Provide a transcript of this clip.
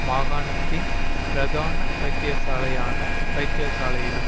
மாகாணத்தின் பிரதான வைத்தியசாலையான வைத்தியசாலையிலும்